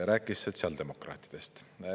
Rääkis sotsiaaldemokraatidest.